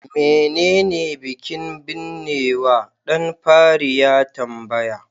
menene bikin binnewa? dan fari ya tambaya